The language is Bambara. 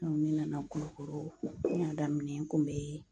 ne nana Kulukɔrɔ n y'a daminɛ n kun be